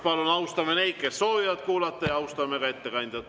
Palun austame neid, kes soovivad kuulata, ja austame ka ettekandjat.